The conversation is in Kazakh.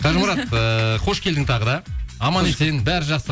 қажымұрат ыыы қош келдің тағы да аман есен бәрі жақсы